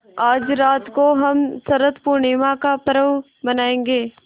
आज रात को हम शरत पूर्णिमा का पर्व मनाएँगे